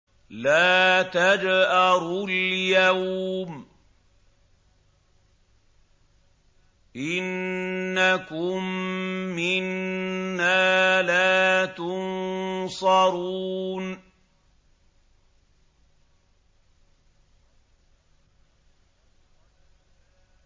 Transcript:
لَا تَجْأَرُوا الْيَوْمَ ۖ إِنَّكُم مِّنَّا لَا تُنصَرُونَ